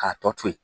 K'a tɔ to yen